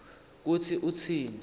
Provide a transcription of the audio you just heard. kutsi utsini